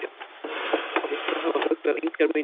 Líklega hafa fuglar engar meiningar.